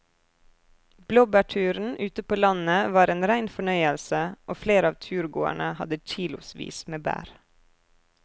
Blåbærturen ute på landet var en rein fornøyelse og flere av turgåerene hadde kilosvis med bær.